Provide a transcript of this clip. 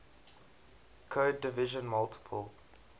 code division multiple